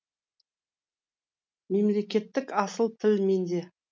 мемлекеттік асыл тіл менде